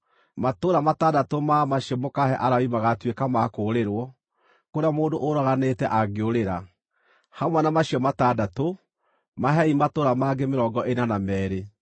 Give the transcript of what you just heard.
“Matũũra matandatũ ma macio mũkaahe Alawii magaatuĩka ma kũũrĩrwo, kũrĩa mũndũ ũraganĩte angĩũrĩra. Hamwe na macio matandatũ, mahei matũũra mangĩ mĩrongo ĩna na meerĩ.